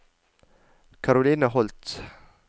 Karoline Holth